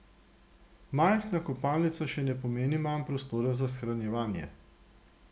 Majhna kopalnica še ne pomeni manj prostora za shranjevanje.